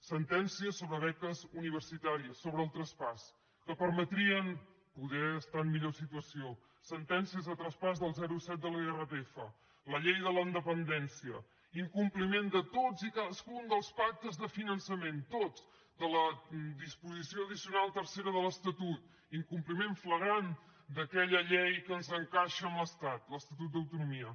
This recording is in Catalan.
sentències sobre beques universitàries sobre el traspàs que permetrien poder estar en millor situació sentències de traspàs del zero coma set de l’irpf la llei de la dependència incompliment de tots i cadascun dels pactes de finançament tots de la disposició addicional tercera de l’estatut incompliment flagrant d’aquella llei que ens encaixa amb l’estat l’estatut d’autonomia